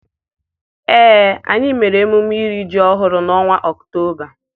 Ee, anyị mere emume iri ji ọhụrụ n'ọnwa Ọktoba.